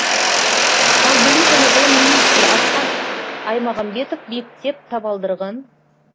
ал білім және ғылым министрі асхат аймағамбетов мектеп табалдырғын